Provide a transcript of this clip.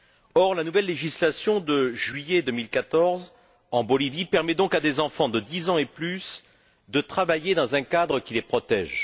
Or, la nouvelle législation de juillet 2014 en Bolivie permet donc à des enfants de 10 ans et plus de travailler dans un cadre qui les protège.